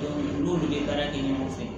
n'olu bɛ baara kɛ ɲɔgɔn fɛ